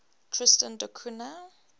tristan da cunha